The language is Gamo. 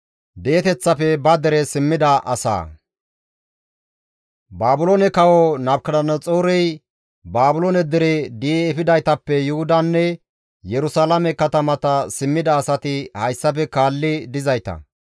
Baabiloone kawo Nabukadanaxoorey Baabiloone dere di7i efidaytappe Yuhudanne Yerusalaame katamata simmida asati hayssafe kaalli dizayta;